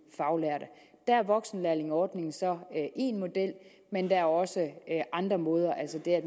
faglærte der er voksenlærlingeordningen så én model men der er også andre måder altså det